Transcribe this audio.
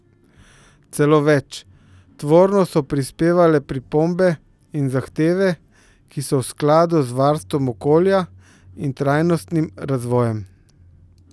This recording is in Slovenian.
Celo več, tvorno so prispevale pripombe in zahteve, ki so v skladu z varstvom okolja in trajnostnim razvojem.